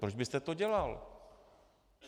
Proč byste to dělal?